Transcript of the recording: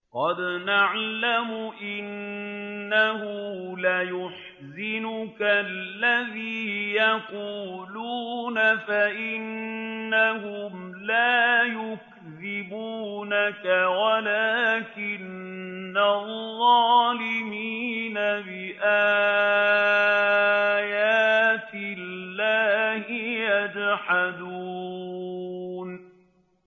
قَدْ نَعْلَمُ إِنَّهُ لَيَحْزُنُكَ الَّذِي يَقُولُونَ ۖ فَإِنَّهُمْ لَا يُكَذِّبُونَكَ وَلَٰكِنَّ الظَّالِمِينَ بِآيَاتِ اللَّهِ يَجْحَدُونَ